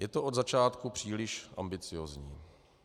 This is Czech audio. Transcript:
Je to od začátku příliš ambiciózní.